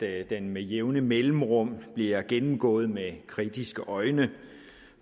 er at den med jævne mellemrum bliver gennemgået med kritiske øjne